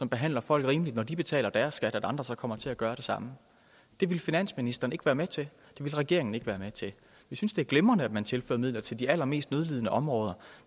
behandler folk rimeligt når de betaler deres skat altså at andre så kommer til at gøre det samme det ville finansministeren ikke være med til det ville regeringen ikke være med til vi synes det er glimrende at man tilfører midler til de allermest nødlidende områder